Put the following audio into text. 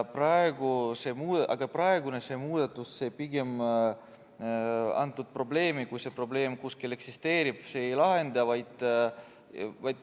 Aga praegune muudatus probleemi, kui see probleem kuskil eksisteerib, pigem ei lahenda.